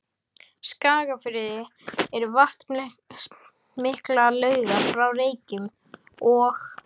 Skagafirði eru vatnsmiklar laugar hjá Reykjum og